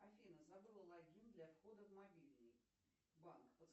афина забыла логин для входа в мобильный банк